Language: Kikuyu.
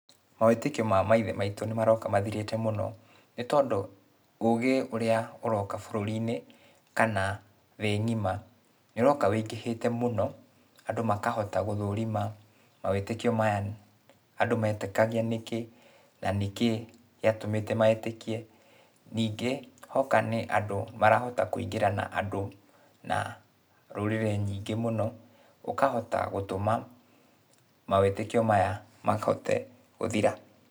Mawĩtĩkio ma maithe maitũ nĩmaroka mathirĩte mũno, nĩtondũ, ũgĩ ũrĩa ũroka bũrũri-inĩ, kana thĩ ng'ima, nĩũroka wĩingĩhĩte mũno, andũ makahota gũthũrima, mawĩtĩkio maya andũ metĩkagia nĩkĩ, na nĩkĩĩ gĩatũmĩte metĩkie. Ningĩ, hoka nĩ andũ, marahota kũingĩrana andũ na rũrĩrĩ nyingĩ mũno, ũkahota gũtũma mawĩtĩkio maya mahote gũthira.